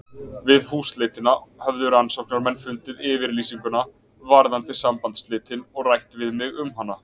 Við húsleitina höfðu rannsóknarmenn fundið yfirlýsinguna varðandi sambandsslitin og rætt við mig um hana.